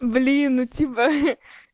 блин ну типа